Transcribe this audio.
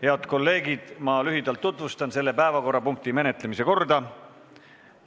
Head kolleegid, tutvustan lühidalt selle päevakorrapunkti menetlemise korda.